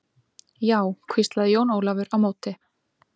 Já, hvíslaði Jón Ólafur á móti.